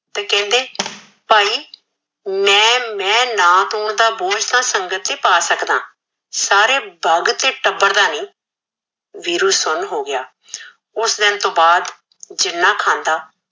ਤੇ ਕਹਿਦੇ ਭਾਈ ਮੈ ਮੈ ਨਾਥ ਹੋਣ ਦਾ ਬੋਜ ਸਾਰੀ ਸਗਤ ਤੇ ਪਾ ਸਕਦਾ ਸਾਰੇ ਬਲਦ ਤੇ ਟਬਰ ਦਾ ਨਈ ਵੀਰੂ ਸੁਨ ਹੋ ਗਿਆ ਓਸ ਦਿਨ ਤੋਂ ਬਾਦ ਜਿਨਾ ਖਾਂਦਾ